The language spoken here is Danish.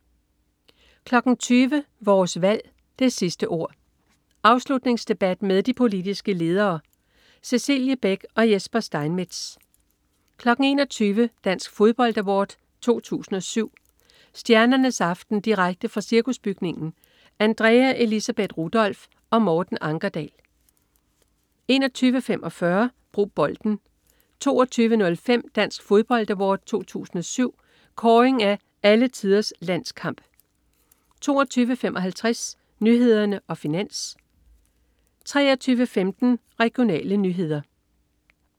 20.00 Vores Valg: Det sidste ord. Afslutningsdebat med de politiske ledere. Cecilie Beck og Jesper Steinmetz 21.00 Dansk Fodbold Award 2007. Stjernernes aften direkte fra Cirkusbygningen. Andrea Elisabeth Rudolph og Morten Ankerdal 21.45 Brug Bolden 22.05 Dansk Fodbold Award 2007. Kåring af "Alle Tiders Landskamp" 22.55 Nyhederne og Finans 23.15 Regionale nyheder